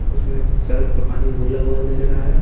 उसमें सरफ का पानी घुला हुआ नजर आ रहा है।